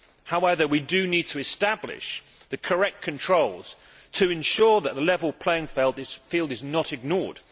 However, we do need to establish the correct controls to ensure that the level playing field is not ignored.